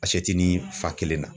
ni fa kelen na